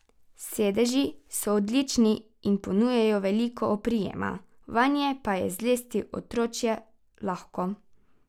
Sedeži so odlični in ponujajo veliko oprijema, vanje pa je zlesti otročje lahko.